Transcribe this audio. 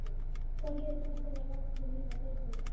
Hvað gerir þú til að láta þér líða betur?